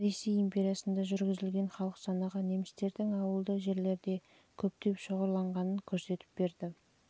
ресей империясында жүргізілген халық санағы немістердің ауылды жерлерде көптеп шоғырланғанын көрсетіп берді